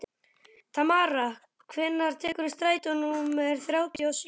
Tamara, hvenær kemur strætó númer þrjátíu og sjö?